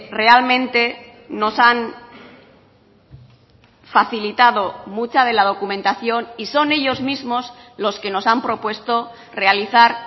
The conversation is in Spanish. realmente nos han facilitado mucha de la documentación y son ellos mismos los que nos han propuesto realizar